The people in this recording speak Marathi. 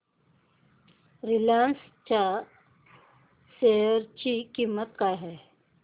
रिलायन्स च्या शेअर ची किंमत काय आहे